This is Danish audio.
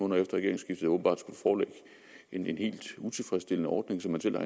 regeringsskiftet åbenbart skulle foreligge en helt utilfredsstillende ordning som man selv har